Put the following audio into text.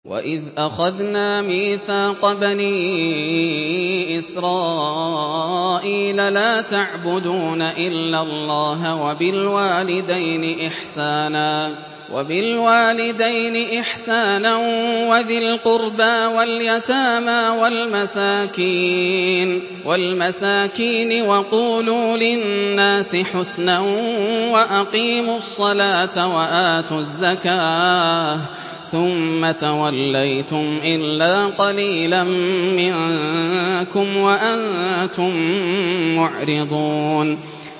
وَإِذْ أَخَذْنَا مِيثَاقَ بَنِي إِسْرَائِيلَ لَا تَعْبُدُونَ إِلَّا اللَّهَ وَبِالْوَالِدَيْنِ إِحْسَانًا وَذِي الْقُرْبَىٰ وَالْيَتَامَىٰ وَالْمَسَاكِينِ وَقُولُوا لِلنَّاسِ حُسْنًا وَأَقِيمُوا الصَّلَاةَ وَآتُوا الزَّكَاةَ ثُمَّ تَوَلَّيْتُمْ إِلَّا قَلِيلًا مِّنكُمْ وَأَنتُم مُّعْرِضُونَ